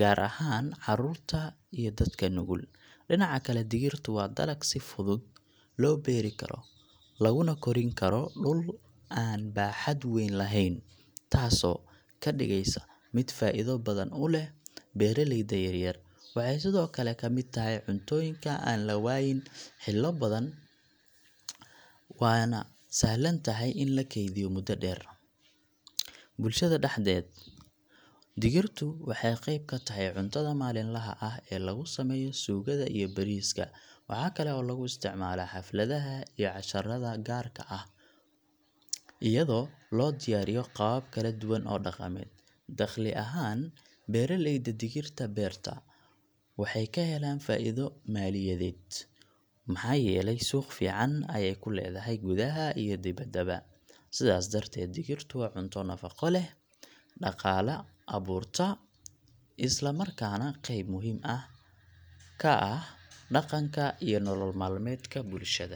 gaar ahaan carruurta iyo dadka nugul. Dhinaca kale, digirtu waa dalag si fudud loo beeri karo, laguna korin karo dhul aan baaxad weyn lahayn, taasoo ka dhigaysa mid faa’iido badan u leh beeraleyda yaryar. Waxay sidoo kale ka mid tahay cuntooyinka aan la waayin xillio badan, waana sahlan tahay in la keydiyo muddo dheer. Bulshada dhexdeeda, digirtu waxay qayb ka tahay cuntada maalinlaha ah ee lagu sameeyo suugada iyo bariiska. Waxaa kale oo lagu isticmaalaa xafladaha iyo casharada gaarka ah, iyadoo loo diyaariyo qaabab kala duwan oo dhaqameed. Dakhli ahaan, beeraleyda digirta beerta waxay ka helaan faa’iido maaliyadeed, maxaa yeelay suuq fiican ayay ku leedahay gudaha iyo dibaddaba. Sidaas darteed, digirtu waa cunto nafaqo leh, dhaqaale abuurta, isla markaana qayb muhiim ah ka ah dhaqanka iyo nolol maalmeedka bulshada.